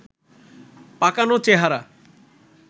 পাকানো চেহারা